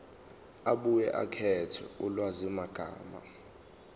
abuye akhethe ulwazimagama